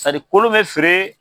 kolon bɛ feere